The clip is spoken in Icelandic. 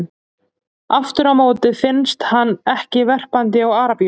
Aftur á móti finnst hann ekki verpandi á Arabíuskaga.